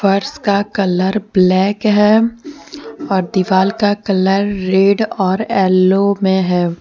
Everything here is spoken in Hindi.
फर्श का कलर ब्लैक है और दीवाल का कलर रेड और एलो में है।